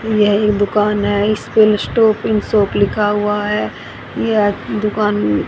यह एक दुकान है इस पे स्कूल स्टॉपिंग शॉप लिखा हुआ है यह दुकान--